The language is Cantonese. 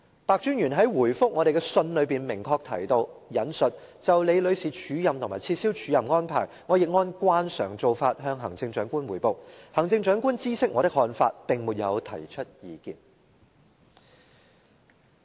白專員在答覆我們的信中明確提到，就李女士署任和撤銷署任安排，他亦按慣常做法向行政長官匯報，行政長官知悉他的看法，並沒有提出意見。